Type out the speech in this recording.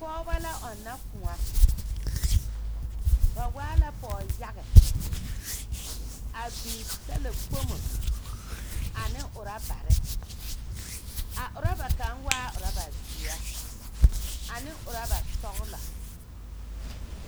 Pͻgebͻ la ͻnnͻ kõͻ. Ba waa la pͻge yage. A biŋ talakpomo ane orͻbare. A orͻba kaŋa waa orͻba zeԑ ane orͻba sͻgelͻ.